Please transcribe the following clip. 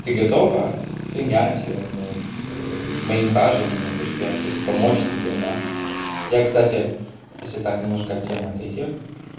ты готова принять ну вот мои ухаживания то что я вот хочу помочь тебе да я кстати если так немножко от темы отойти